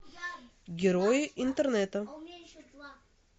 герои интернета